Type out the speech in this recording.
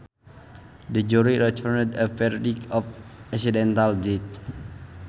The jury returned a verdict of accidental death